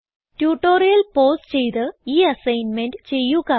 tutorial pause ചെയ്ത് ഈ assignment ചെയ്യുക